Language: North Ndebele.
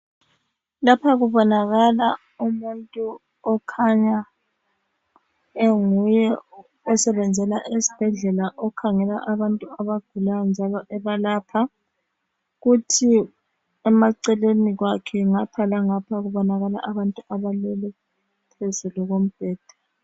Lapha kubonakala umuntu okhanya enguye osebenzela esibhedlela okhangela abantu abagulayo njalo ebalapha, kuthi emaceleni kwakhe ngapha langapha kubonakala abantu abaleleyo phezulu kombheda.